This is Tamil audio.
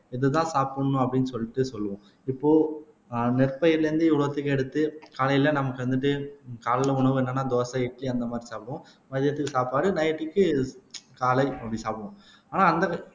இதுதான் சாப்பிடணும் அப்படின்னு சொல்லிட்டு சொல்லுவோம் இப்போ ஆஹ் நெற்பயிர்ல இருந்து இவ்வளவுத்தையும் எடுத்து காலையில நமக்கு வந்துட்டு காலையில உணவு என்னன்னா தோசை இட்லி அந்த மாதிரி சாப்பிடுவோம் மதியத்துக்கு சாப்பாடு நைட்க்கு காலை அப்படி சாப்பிடுவோம் ஆனா அந்த